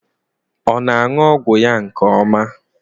Ọ na-aṅụ ọgwụ ya nke ọma?